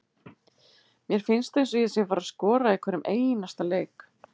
Mér finnst eins og ég sé að fara að skora í hverjum einasta leik.